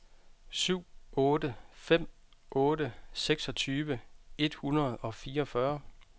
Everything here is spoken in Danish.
syv otte fem otte seksogtyve et hundrede og fireogfyrre